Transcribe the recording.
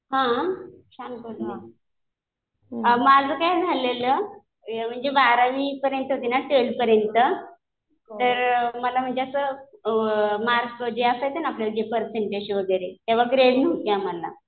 हा चांगलं आहे मग. माझं काय झालेलं म्हणजे बारावी पर्यंत होती ना ट्वेल्थ पर्यंत तर मला म्हणजे असं मार्क जे असायचं ना आपल्याला पर्सेंटेज वगैरे. तेव्हा ग्रेड नव्हते आम्हाला.